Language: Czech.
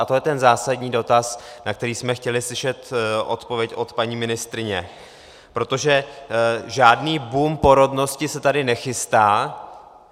A to je ten zásadní dotaz, na který jsme chtěli slyšet odpověď od paní ministryně, protože žádný boom porodnosti se tady nechystá.